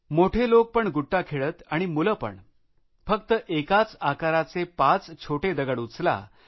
मोठे लोक पण गोट्या खेळत आणि मुलं पणफक्त एकाच आकाराच्या चार छोटया गोटया उचला